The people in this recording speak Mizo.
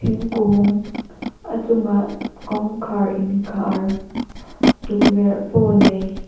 thingkung a chungah kawngkhar inkhar tukverh pawh nei.